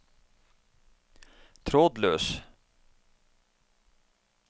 trådløs